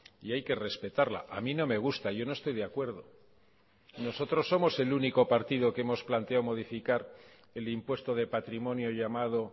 y hay que respetarla a mí no me gusta yo no estoy de acuerdo nosotros somos el único partido que hemos planteado modificar el impuesto de patrimonio llamado